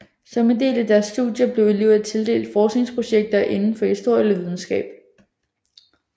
Som en del af deres studier blev elever tildelt forskningsprojekter inden for historie eller videnskab